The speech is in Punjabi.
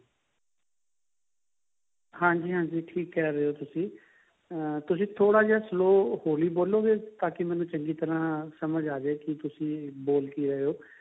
ਹਾਂਜੀ ਹਾਂਜੀ ਠੀਕ ਕਹਿ ਰਹੇ ਹੋ ਤੁਸੀਂ ਅਹ ਤੁਸੀਂ ਥੋੜਾ ਜਾ slow ਹੋਲੀ ਬੋਲੋਗੇ ਤਾਕਿ ਮੈਨੂੰ ਚੰਗੀ ਤਰ੍ਹਾਂ ਸਮਝ ਆਜੇ ਕਿ ਤੁਸੀਂ ਬੋਲ ਕਿ ਰਹੇ ਹੋ